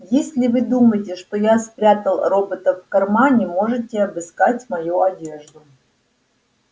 если вы думаете что я спрятал робота в кармане можете обыскать мою одежду